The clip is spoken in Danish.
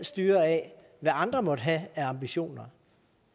styre af hvad andre måtte have af ambitioner